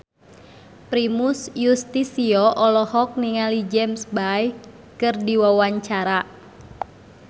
Primus Yustisio olohok ningali James Bay keur diwawancara